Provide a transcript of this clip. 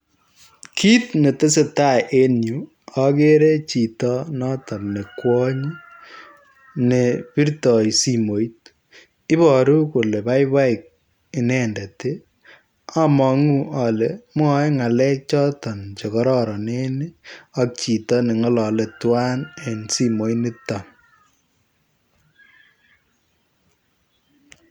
Kit ne tesetai en Yuu agere chitoon notoon ne kwaaany ne birtaai simoit iboruu kole baibai inendet ii amanguu ale mwae ngalek chotoon chekororoneen ii ak chitoo ne ngalale tuan en simoit nito.